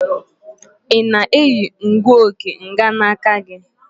Ị na-eyi ngụoge mganaka gị?